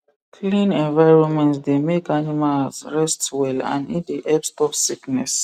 clean environment dey make animals rest well and e dey help stop sickness